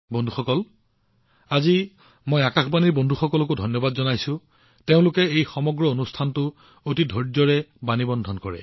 বন্ধুসকল আজি মই আকাশবাণীৰ কৰ্মচাৰীসকলকো ধন্যবাদ জনাইছো যিসকলে এই সমগ্ৰ কাৰ্যসূচীটো অতি ধৈৰ্য্যৰে ৰেকৰ্ড কৰে